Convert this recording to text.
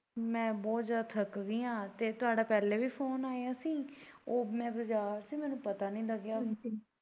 ਮੈਂ ਬੋਤ ਜਿਆਦਾ ਥੱਕ ਗੀ ਆ ਤੇ ਤੁਹਾਡਾ ਪਹਿਲਾ ਵੀ ਫੋਨ ਆਇਆ ਸੀ ਉਹ ਮੈਂ ਬਜਾਰ ਸੀ ਮੈਨੂੰ ਪਤਾ ਨੀ ਲੱਗਿਆ।